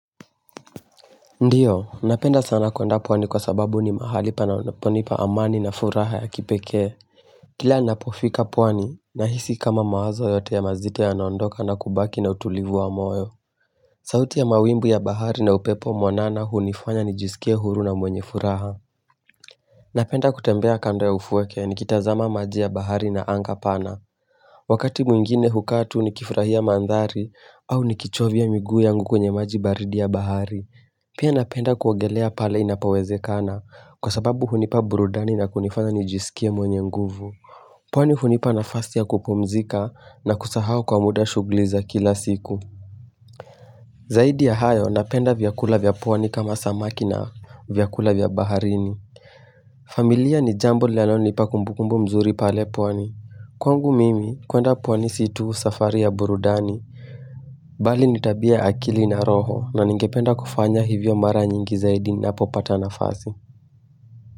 Ndiyo, napenda sana kwenda pwani kwa sababu ni mahali pana ponipa amani na furaha ya kipeke. Kila napofika pwani, nahisi kama mawazo yote ya mazito ya naondoka na kubaki na utulivu wa moyo. Sauti ya mawimbu ya bahari na upepo mwanana hu nifanya nijisikie huru na mwenye furaha. Napenda kutembea kando ya ufueke ni kitazama maji ya bahari na anga pana. Wakati mwingine hukatu ni kifurahia mandhari au ni kichovia miguu yangu kwenye maji baridi ya bahari. Pia napenda kuogelea pale inapowezekana kwa sababu hunipa burudani na kunifanya nijisikie mwenye nguvu. Pwani hunipa nafasi ya kupumzika na kusahau kwa muda shugliza kila siku. Zaidi ya hayo napenda vyakula vyapwani kama samaki na vyakula vyabaharini. Familia ni jambo linalo nipa kumbukumbu mzuri pale pwani. Kwangu mimi kuenda pwani situ safari ya burudani. Bali nitabia akili na roho na ningependa kufanya hivyo mara nyingi zaidi napo pata nafasi.